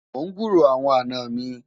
mon gburó àwọn àná mí